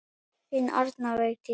Þín Arna Vigdís.